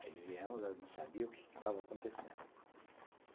Aí viemos, eu não sabia o que estava acontecendo.